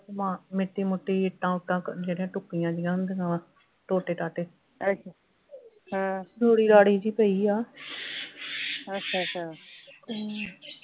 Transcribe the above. ਮ ਮਿੱਟੀ ਮੁਟੀ ਇੱਟਾਂ ਉੱਟਾਂ ਜਿਹੜੀਆਂ ਟੁੱਟੀਆਂ ਜਿਹੀਆਂ ਹੁੰਦੀਆਂ ਵਾ ਟੋਟੇ ਟਾਟੇ ਰੂੜੀ ਰਾੜੀ ਜਿਹੀ ਪਈ ਆ ਹਮ